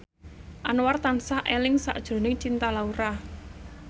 Anwar tansah eling sakjroning Cinta Laura